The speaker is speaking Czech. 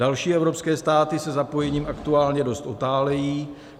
Další evropské státy se zapojením aktuálně dost otálejí.